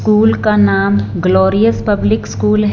School का नाम glorious public school हैं।